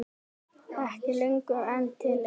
Ekki lengur en til eitt.